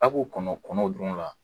A' ko kɔnɔ kɔnɔw dun la